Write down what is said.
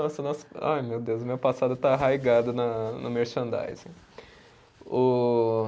Nossa nossa, ai meu Deus, o meu passado está arraigado na no merchandising. O